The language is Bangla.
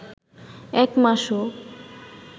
এক মাসও